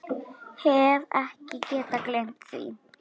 Hef ekki getað gleymt því.